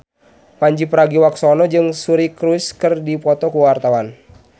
Pandji Pragiwaksono jeung Suri Cruise keur dipoto ku wartawan